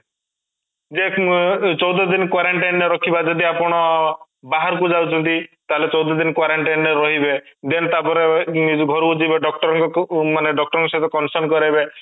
ଯେ ଏଁ ଚଉଦ ଦିନ quarantine ରେ ରଖିବା ଯଦି ଆପଣ ବାହାରକୁ ଯାଉଛନ୍ତି ତାହେଲେ ଚଉଦ ଦିନ quarantine ରେ ରହିବେ then ତାପରେ ଘରକୁ ଯିବେ doctor ଙ୍କୁ ମାନେ doctor ଙ୍କ ସହିତ consult କରିବେ